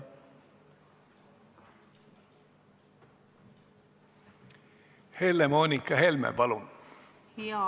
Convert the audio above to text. Helle-Moonika Helme, palun!